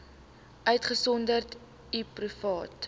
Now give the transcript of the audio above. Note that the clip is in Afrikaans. uitgesonderd u private